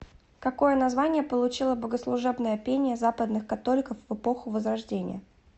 какое название получило богослужебное пение западных католиков в эпоху возрождения